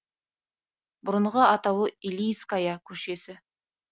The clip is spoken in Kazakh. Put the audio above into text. бұрынғы атауы илииская көшесі